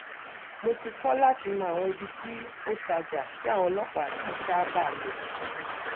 mo ti kọ́ láti mọ àwọn ibi tí ó tajà tí àwọn ọlọ́pàá kì í sábàá lọ